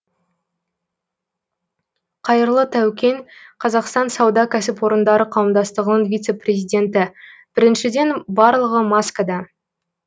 қайырлы таукен қазақстан сауда кәсіпорындары қауымдастығының вице президенті біріншіден барлығы маскада